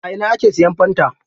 A ina ake siyan fanta?